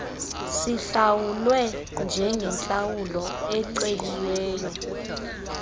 sihlawulwe njengentlawulo eceliweyo